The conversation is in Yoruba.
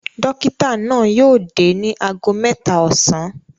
Dọ́kítá náà yóò dé ní ago mẹ́ta ọ̀sán.